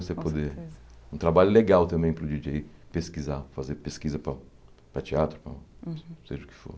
Você poder... Um trabalho legal também para o Di dJei pesquisar, fazer pesquisa para para teatro para, seja o que for.